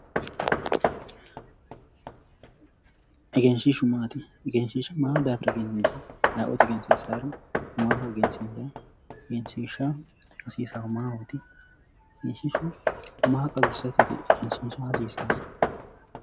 Egenshiishshu maati egenshiishsha ma daafira egenisiisawo ayi'ooti egensiisawori maahoegensiisawo egenshiishsha egenssisahu maahoti? egenshiishshu maa xawisatteti egensiisa hasiissahu